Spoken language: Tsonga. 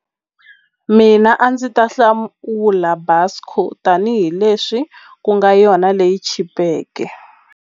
Mina a ndzi ta Busco tanihileswi ku nga yona leyi chipeke.